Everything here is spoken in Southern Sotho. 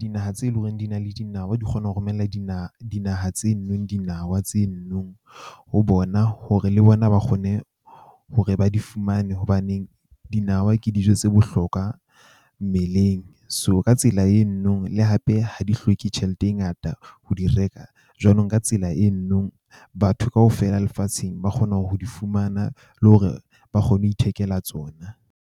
Dinaha tse leng hore di na le dinawa, di kgona ho romella dinaha tse , dinawa ho bona hore le bona ba kgone hore ba di fumane hobaneng, dinawa ke dijo tse bohlokwa mmeleng. So ka tsela le hape ha di hloke tjhelete e ngata ho di reka. Jwanong ka tsela batho kaofela lefatsheng ba kgona ho di fumana, le hore ba kgone ho ithekela tsona.